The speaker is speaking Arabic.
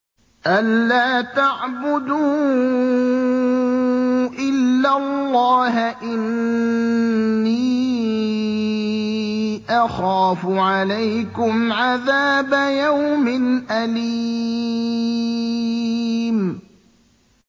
أَن لَّا تَعْبُدُوا إِلَّا اللَّهَ ۖ إِنِّي أَخَافُ عَلَيْكُمْ عَذَابَ يَوْمٍ أَلِيمٍ